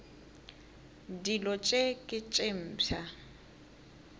dilo tše ke tše mpsha